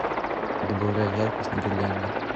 добавляй яркость на гирлянде